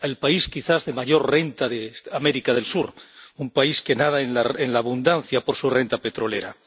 Al país quizás de mayor renta de América del Sur, un país que nada en la abundancia por su renta petrolera.